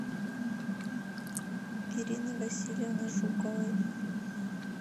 ирины васильевны жуковой